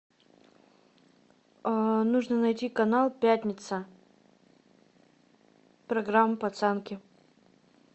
нужно найти канал пятница программа пацанки